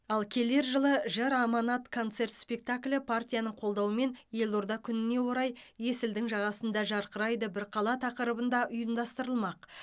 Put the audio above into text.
ал келер жылы жыр аманат концерт спектаклі партияның қолдауымен елорда күніне орай есілдің жағасында жарқырайды бір қала тақырыбында ұйымдастырылмақ